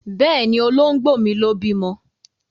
Bẹ́ẹ̀ni, Olóńgbò mi ló bímọ.